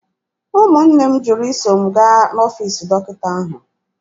Ụmụnne m jụrụ iso m gaa n'ọfiisi dọkịta ahụ.